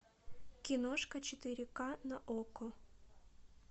киношка четыре ка на окко